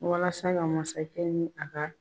Walasa ka masakɛ ni a ka